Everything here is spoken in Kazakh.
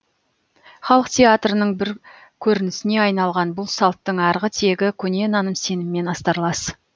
халық театрының бір көрінісіне айналған бұл салттың арғы тегі көне наным сеніммен астарлас